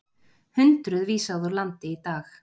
Hundruð vísað úr landi í dag